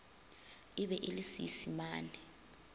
e be e le seisemane